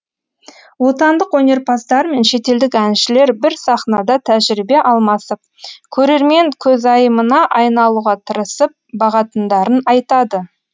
отандық өнерпаздар мен шетелдік әншілер бір сахнада тәжірибе алмасып көрермен көзайымына айналуға тырысып бағатындарын айтады